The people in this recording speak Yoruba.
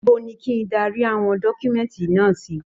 Níbo ní kí darí àwọn dọkumẹ̀nti náà sì?